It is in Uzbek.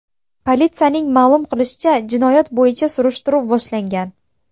Politsiyaning ma’lum qilishicha, jinoyat bo‘yicha surishtiruv boshlangan.